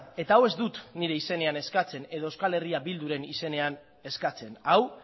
eta hau ez dut nire izenean eskatzen edo eh bilduren izenean eskatzen hau